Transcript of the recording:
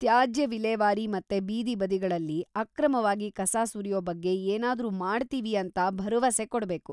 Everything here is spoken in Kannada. ತ್ಯಾಜ್ಯ ವಿಲೇವಾರಿ ಮತ್ತೆ ಬೀದಿ ಬದಿಗಳಲ್ಲಿ ಅಕ್ರಮವಾಗಿ ಕಸ ಸುರ್ಯೋ ಬಗ್ಗೆ ಏನಾದ್ರೂ ಮಾಡ್ತೀವಿ ಅಂತ ಭರವಸೆ ಕೊಡ್ಬೇಕು.